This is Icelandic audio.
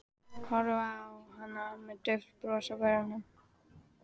Horfði á hana með dauft bros á vörunum.